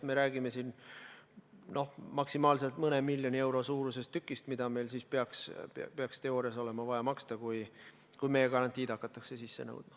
Me räägime siin maksimaalselt mõne miljoni euro suurusest tükist, mida meil peaks teoorias olema vaja maksta, kui meie garantiid hakatakse sisse nõudma.